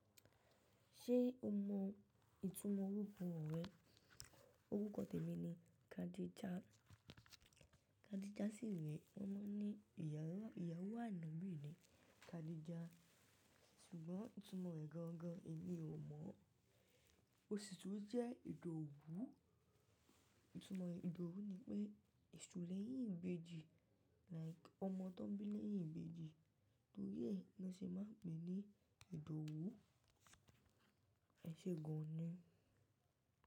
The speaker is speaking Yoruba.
Ṣé o mọ ìtumọ̀ orúkọ rẹ? Orúkọ tèmi ni Khadija. Khadija sì rẹ wọ́n máa ń ní ìyàwó ànábi Khadija. Ṣùgbọ́n ìtumọ̀ rẹ̀ gangan èmi ò mọ̀. Ó sì tún jẹ́ Ìdòwú. Ìtumọ̀ Ìdòwú ni pé èṣù lẹ́yìn ìbejì, like ọmọ tó ń bí lẹ́yìn ìbejì. Torí ẹ ní wọ́n ṣe máa ń pè ní Ìdòwú. Ẹ ṣe gan-an ni?